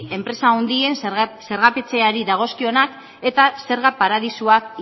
enpresa handiei zergatzeari dagozkionak eta zerga paradisuak